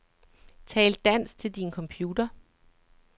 Tal dansk til din computer.